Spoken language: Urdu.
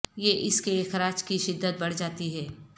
یہ اس کے اخراج کی شدت بڑھ جاتی ہے